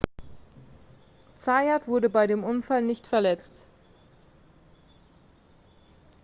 zayat wurde bei dem unfall nicht verletzt